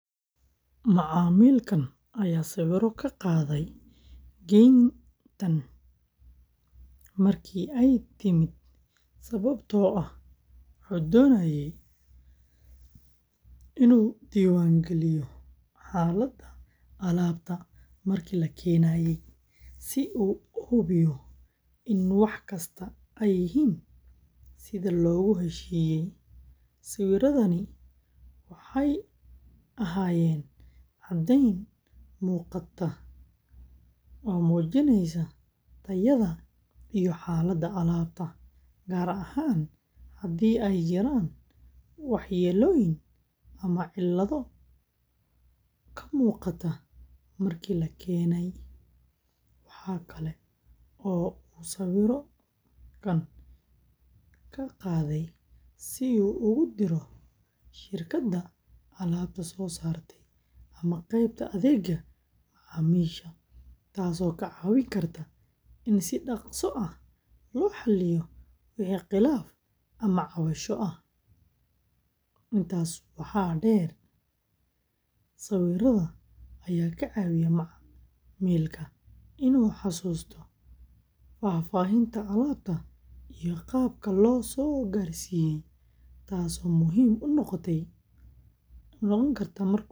Macmiilkan ayaa sawiro ka qaaday geyntan markii ay timid sababtoo ah wuxuu doonayay inuu diiwaan geliyo xaaladda alaabta markii la keenay, si uu u hubiyo in wax kasta ay yihiin sida loogu heshiiyey. Sawiradani waxay ahaayeen caddeyn muuqata oo muujinaysa tayada iyo xaaladda alaabta, gaar ahaan haddii ay jiraan waxyeellooyin ama cillado ka muuqda markii la keenay. Waxa kale oo uu sawiro ka qaaday si uu ugu diro shirkadda alaabta soo saartay ama qaybta adeegga macaamiisha, taasoo ka caawin karta in si dhakhso ah loo xalliyo wixii khilaaf ama cabasho ah. Intaas waxaa dheer, sawirada ayaa ka caawiya macmiilka inuu xasuusto faahfaahinta alaabta.